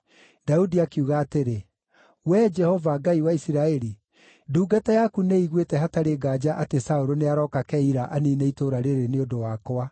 Daudi akiuga atĩrĩ, “Wee Jehova, Ngai wa Isiraeli, ndungata yaku nĩ ĩiguĩte hatarĩ nganja atĩ Saũlũ nĩarooka Keila aniine itũũra rĩĩrĩ nĩ ũndũ wakwa.